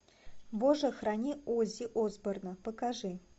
боже храни оззи осборна покажи